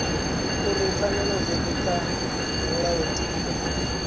uri pfanelo dzothe kha mulayotibe